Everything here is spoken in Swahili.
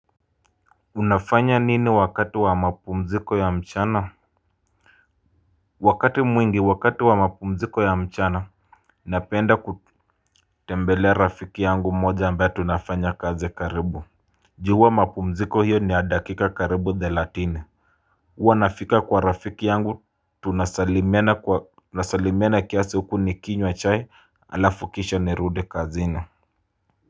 Unafanya nini wakati wa mapumziko ya mchana. Wakati mwingi wakati wa mapumziko ya mchana napenda kutembelea rafiki yangu mmoja ambaye tunafanya kaz karibu. Ju hua mapumziko hiyo ni ya dakika karibu thelathini. Huwa nafika kwa rafiki yangu tunasalimiana kiasi huku nikinywa chai alafu kisha nirudi kazini.